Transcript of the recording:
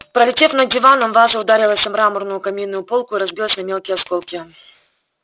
пролетев над диваном ваза ударилась о мраморную каминную полку и разбилась на мелкие осколки